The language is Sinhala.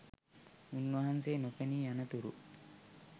උන්වහන්සේ නොපෙනී යනතුරු